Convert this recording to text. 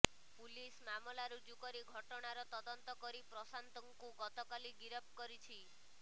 police ମାମଲା ରୁଜୁ କରି ଘଟଣାର ତଦନ୍ତ କରି ପ୍ରଶାନ୍ତଙ୍କୁ ଗତକାଲି ଗିରଫ କରିଛି